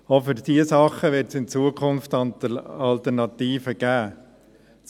Auch für diese Dinge wird es in Zukunft Alternativen geben.